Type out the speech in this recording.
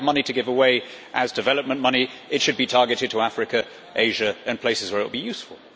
If we have money to give away as development money, it should be targeted to Africa, Asia, and places where it will be useful.